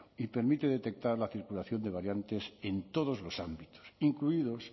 y permite detectar la circulación de variantes en todos los ámbitos incluidos